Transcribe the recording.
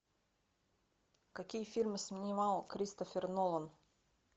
какие фильмы снимал кристофер нолан